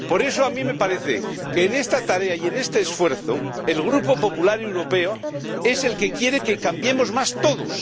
Por eso, a mí me parece que en esta tarea y en este esfuerzo, el Grupo Popular Europeo es el que quiere que cambiemos más todos.